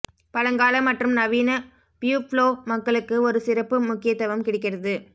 பழங்கால மற்றும் நவீன பியூப்லோ மக்களுக்கு ஒரு சிறப்பு முக்கியத்துவம் கிடைக்கிறது